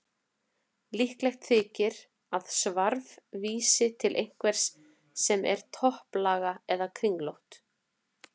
Líklegt þykir að svarf vísi til einhvers sem er topplaga eða kringlótt.